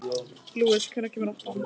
Lúis, hvenær kemur áttan?